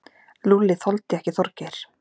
Lúlli þoldi ekki Þorgeir.